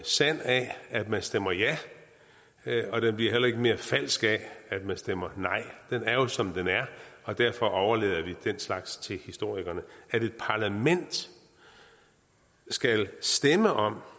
sand af at man stemmer ja og den bliver heller ikke mere falsk af at man stemmer nej den er jo som den er og derfor overlader vi den slags til historikerne at et parlament skal stemme om